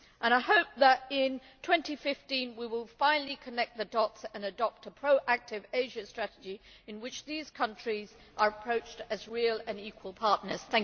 I hope that in 2015 we will finally connect the dots and adopt a proactive Asia strategy in which these countries are approached as real and equal partners.